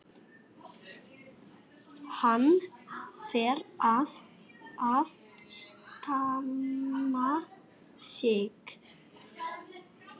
Hann varð að standa sig.